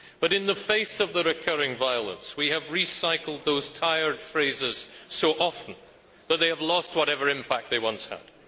But in the face of the recurring violence, we have recycled those tired phrases so often that they have lost whatever impact they once had.